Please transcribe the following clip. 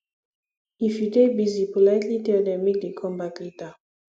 if you dey busy politely tell them make dem conme back later